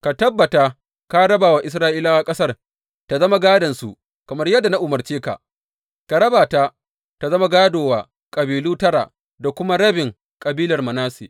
Ka tabbata ka raba wa Isra’ilawa ƙasar ta zama gādonsu kamar yadda na umarce ka, ka raba ta tă zama gādo wa kabilu tara da kuma rabin kabilar Manasse.